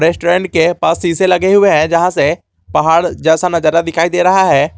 Restaurant के पास शीशे लगे हुए हैं जहां से पहाड़ जैसा नजारा दिखाई दे रहा है।